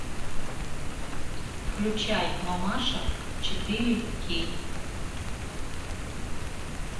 включай мамаша четыре кей